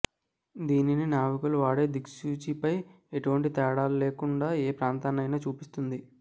దీనిని నావికులు వాడే దిక్సూచిపై ఎటువంటి తేడాలేకుండా ఏ ప్రాంతంనైనా చూపిస్తుంది